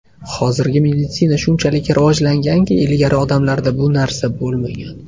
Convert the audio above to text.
Hozirgi meditsina shunchalik rivojlanganki, ilgari odamlarda bu narsa bo‘lmagan.